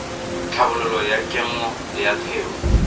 tlhabololo ya kemo ya theo